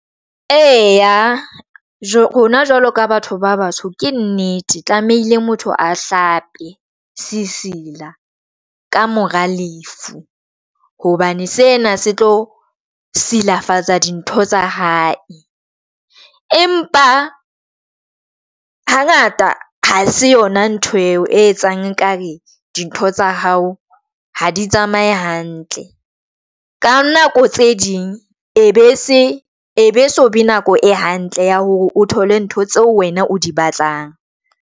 Eya rona jwalo ka batho ba batsho. Ke nnete tlamehile motho a hlape se sila ka mora lefu hobane sena se tlo silafatsa dintho tsa hae. Empa ha ngata ha se yona ntho eo e etsang ekare dintho tsa hao ha di tsamaye hantle ka nako tse ding, e be se e be so be nako e hantle ya hore o thole ntho tseo wena o di batlang.